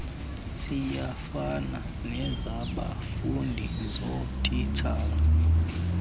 ziyafana nezabafundi zootitshala